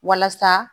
Walasa